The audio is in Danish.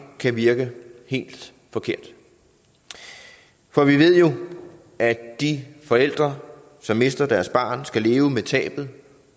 kan virke helt forkert for vi ved jo at de forældre som mister deres barn skal leve med tabet